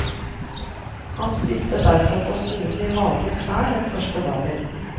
Han stilte derfor på skolen i vanlige klær den første dagen.